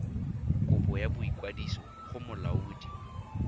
kopo ya boikwadiso go molaodi